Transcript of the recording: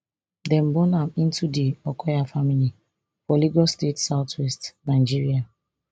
dem born am into di okoya family for lagos state southwest nigeria